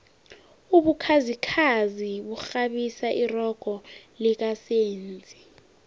ubukhazikhazi bukghabisa irogo lika senzi